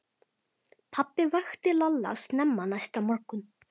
Pabbi vakti Lalla snemma næsta morgun.